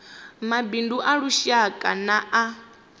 mabindu a lushaka na a